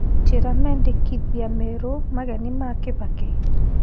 njĩĩra mendekithia meru mageni ma kibaki